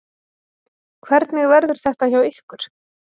Hvernig verður þetta hjá ykkur?